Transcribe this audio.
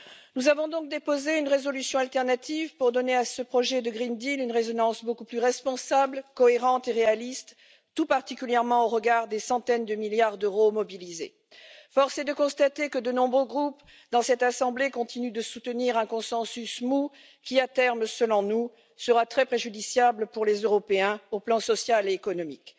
Nous avons donc déposé une résolution alternative pour donner à ce projet du pacte vert européen une résonance beaucoup plus responsable, cohérente et réaliste, tout particulièrement au regard des centaines de milliards d'euros mobilisés. Force est de constater que de nombreux groupes dans cette assemblée continuent de soutenir un consensus mou qui, à terme, selon nous, sera très préjudiciable pour les Européens sur le plan social et économique.